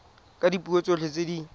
ka dipuo tsotlhe tse di